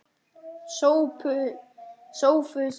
SOPHUS: Við erum fleiri.